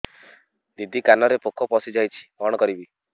ଦିଦି କାନରେ ପୋକ ପଶିଯାଇଛି କଣ କରିଵି